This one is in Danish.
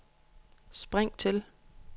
spring til